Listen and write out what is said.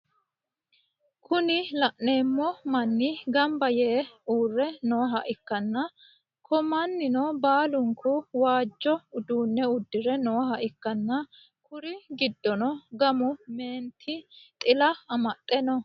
Kuni laneemmo manni gambba yee uurre nooha ikkanna ko mannino baalunkku waajjo uduunne udire nooha ikkana kuri giddono gamu meenti xila amaxxe no